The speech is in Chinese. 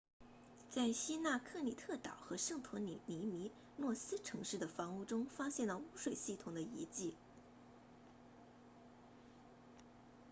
在希腊克里特岛和圣托里尼米诺斯城市的房屋中发现了污水系统的遗迹